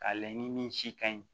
Ka layɛ ni min si kaɲi